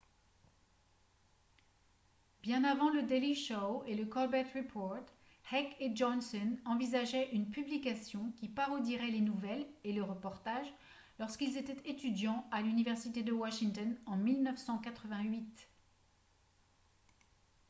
bien avant le daily show et le colbert report heck et johnson envisageaient une publication qui parodierait les nouvelles et les reportages lorsqu'ils étaient étudiants à l'université de washington en 1988